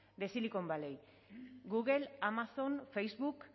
de silicon valley google amazon facebook